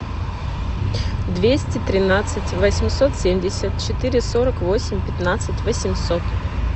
двести тринадцать восемьсот семьдесят четыре сорок восемь пятнадцать восемьсот